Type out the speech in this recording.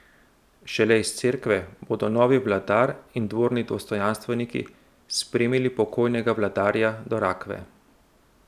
Šele iz cerkve bodo novi vladar in dvorni dostojanstveniki spremili pokojnega vladarja do rakve.